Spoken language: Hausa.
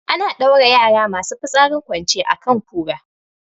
Ana ɗaura yara masu fitsarin kwance a kan kura